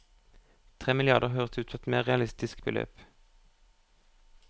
Tre milliarder høres ut som et mer realistisk beløp.